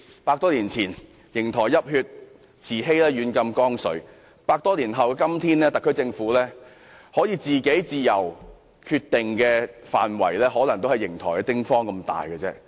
百多年前，瀛台泣血，慈禧軟禁光緒；百多年後的今天，特區政府可以自由決定的範圍，可能也只有瀛台的丁方大小。